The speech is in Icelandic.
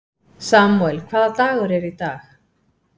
Samúel, hvaða dagur er í dag?